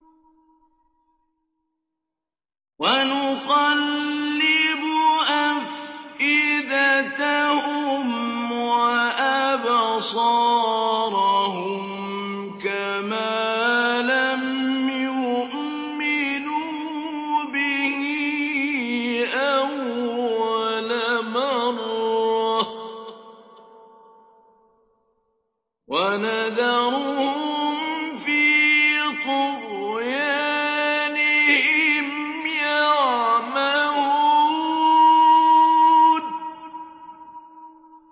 وَنُقَلِّبُ أَفْئِدَتَهُمْ وَأَبْصَارَهُمْ كَمَا لَمْ يُؤْمِنُوا بِهِ أَوَّلَ مَرَّةٍ وَنَذَرُهُمْ فِي طُغْيَانِهِمْ يَعْمَهُونَ